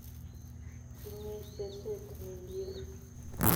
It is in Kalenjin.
Tinyei seset millie